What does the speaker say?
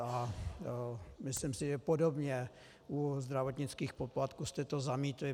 A myslím si, že podobně u zdravotnických poplatků jste to zamítli.